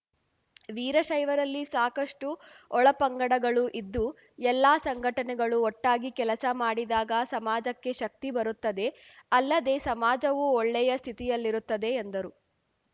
ವೀರಶೈವರಲ್ಲಿ ಸಾಕಷ್ಟುಒಳಪಂಗಡಗಳು ಇದ್ದು ಎಲ್ಲ ಸಂಘಟನೆಗಳು ಒಟ್ಟಾಗಿ ಕೆಲಸ ಮಾಡಿದಾಗ ಸಮಾಜಕ್ಕೆ ಶಕ್ತಿ ಬರುತ್ತದೆ ಅಲ್ಲದೇ ಸಮಾಜವೂ ಒಳ್ಳೆಯ ಸ್ಥಿತಿಯಲ್ಲಿರುತ್ತದೆ ಎಂದರು